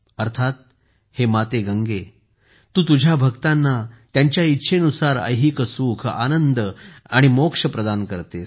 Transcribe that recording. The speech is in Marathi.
अर्थात हे माता गंगा तू तुझ्या भक्तांना त्यांच्या इच्छेनुसार ऐहिक सुख आनंद आणि मोक्ष प्रदान करतेस